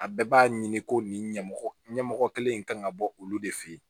A bɛɛ b'a ɲini ko nin ɲɛmɔgɔ ɲɛmɔgɔ kelen in kan ka bɔ olu de fɛ yen